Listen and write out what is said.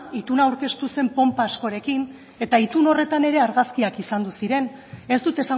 ituna aurkeztu zen ponpa askorekin eta itun horretan ere argazkiak izan ziren ez dut